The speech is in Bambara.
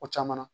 O caman na